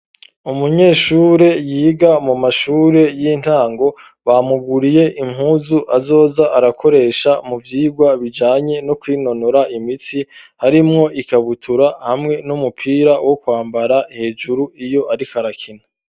Umunyeshure yiga mu mashure y'intango bamuguriye impuzu azoza arakoresha mu vyigwa bijanye no kwinonora imitsi harimwo ikabutura hamwe n'umupira wo kwambara hejuru iyo ariko arakina.